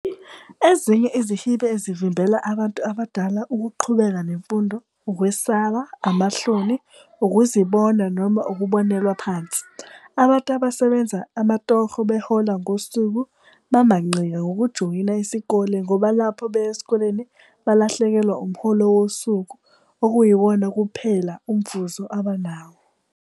Ezinye izihiibe ezivimbela abantu abadala ukuqhubeka nemfundo, ukwesaba, amahloni, ukuzibona, noma ukubonelwa phansi. Abantu abasebenza amatoho behola ngosuku bamanqika ngokujoyina isikole ngoba lapho beya esikoleni balahlekelwa umholo wosuku okuyiwona kumphela umvuzo abanawo.